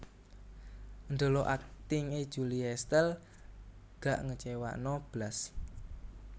Ndelok akting e Julie Estelle gak ngecewano blas